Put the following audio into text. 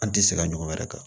An tɛ se ka ɲɔgɔn wɛrɛ kan